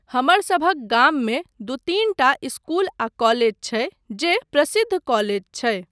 हमरसभक गाममे दू तीन टा इस्कूल आ कॉलेज छै जे प्रसिद्ध कॉलेज छै।